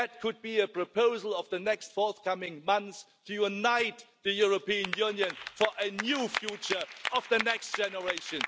housing? That could be a proposal in the forthcoming months to unite the European Union around a new future for the next